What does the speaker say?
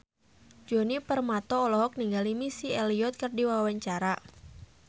Djoni Permato olohok ningali Missy Elliott keur diwawancara